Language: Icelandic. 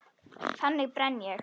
Þannig brenn ég.